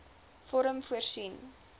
vorm voorsien